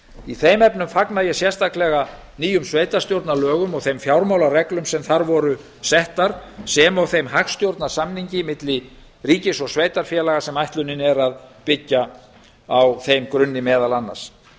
í þeim efnum fagna ég sérstaklega nýjum sveitarstjórnarlögum og þeim fjármálareglum sem þar voru settar sem og þeim hagstjórnarsamningi milli ríkis og sveitarfélaga sem ætlunin er að byggja á þeim grunni meðal annars